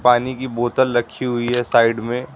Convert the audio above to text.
पानी की बोतल रखी हुई है साइड में।